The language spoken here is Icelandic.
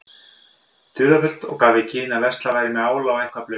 dularfullt og gaf í skyn að verslað væri með ála og eitthvað blautt.